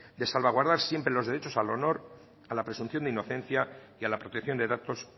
de salvaguardar siempre los derechos al honor a la presunción de inocencia y a la protección de datos